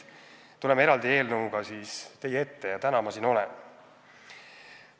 Selle eraldi eelnõuga ma teie ees siis täna olen.